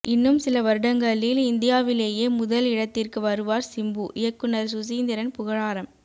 இன்னும் சில வருடங்களில் இந்தியாவிலேயே முதல் இடத்திற்கு வருவார் சிம்பு இயக்குநர் சுசீந்திரன் புகழாரம்